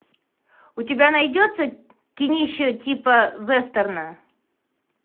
у тебя найдется кинище типа вестерна